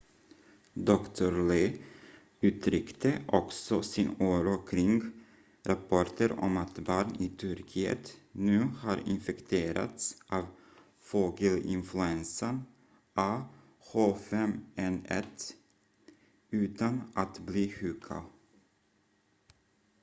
dr. lee uttryckte också sin oro kring rapporter om att barn i turkiet nu har infekterats av fågelinfluensan ah5n1 utan att bli sjuka